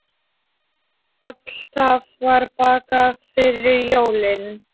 Alltaf var bakað fyrir jólin.